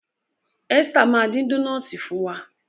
Esther ma din Dónáátì fún wá.